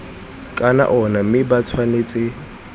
ka ona mme ba tshwanetse